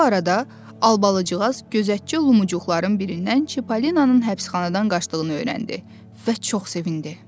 Bu arada Albalıcığaz gözətçi Lumuqların birindən Çippolinanın həbsxanadan qaçdığını öyrəndi və çox sevindi.